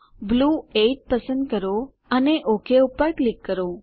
blue 8 પસંદ કરો અને ઓક પર ક્લિક કરો